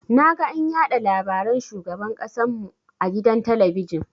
Naga an yaɗa labaran shugaban ƙasan mu a gidan talabijin.